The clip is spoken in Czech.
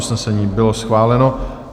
Usnesení bylo schváleno.